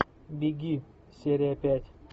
беги серия пять